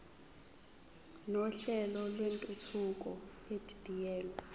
nohlelo lwentuthuko edidiyelwe